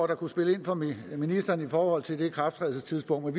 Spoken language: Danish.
der kunne spille ind for ministeren i forhold til ikrafttrædelsestidspunktet